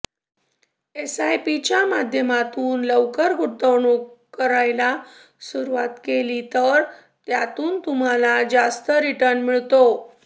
एसआयपीच्या माध्यमातून लवकर गुंतवणूक करायला सुरुवात केली तर त्यातून तुम्हाला जास्त रिटर्न मिळतो